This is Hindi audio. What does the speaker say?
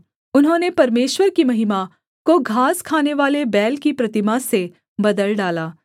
उन्होंने परमेश्वर की महिमा को घास खानेवाले बैल की प्रतिमा से बदल डाला